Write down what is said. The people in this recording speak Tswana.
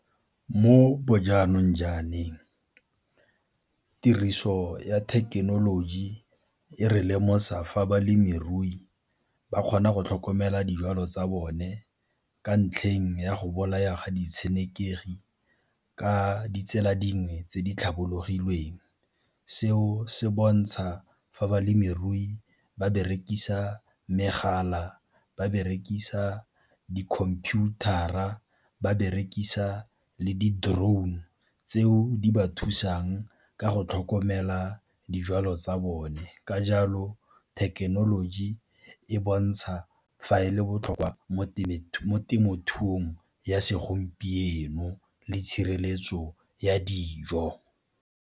Mo bo jaanong , tiriso ya thekenoloji e re lemosa fa balemirui ba kgona go tlhokomela dijalo tsa bone ka ntlheng ya go bolaya ga di tshenekegi ka ditsela dingwe tse di tlhabologilweng. Seo se bontsha fa balemirui ba berekisa megala, ba berekisa di-computer-ra, ba berekisa le di-drone tseo di ba thusang ka go tlhokomela dijwalo tsa bone. Ka jalo thekenoloji e bontsha fa e le botlhokwa mo temothuong ya segompieno le tshireletso ya dijo.